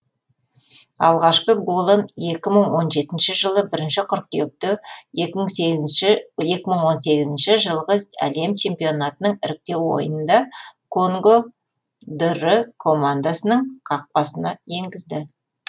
алғашқы голын екі мың он жетіншісі жылы бірінші қыркүйекте екі мың он сегізінші жылғы әлем чемпионатының іріктеу ойынында конго др құрамасының қақпасына енгізді